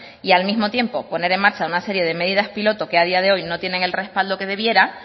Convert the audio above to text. y al mismo tiempo poner en marcha una serie de medidas piloto que a día de hoy no tienen el respaldo que debiera